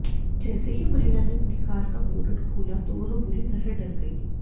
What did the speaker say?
जैसे ही महिला ने अपनी कार का बोनट खोला तो वो बुरी तरह डर गई